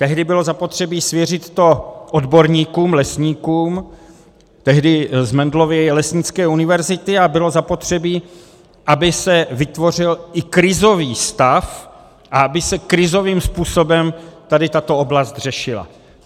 Tehdy bylo zapotřebí svěřit to odborníkům, lesníkům, tehdy z Mendelovy lesnické univerzity, a bylo zapotřebí, aby se vytvořil i krizový stav a aby se krizovým způsobem tady tato oblast řešila.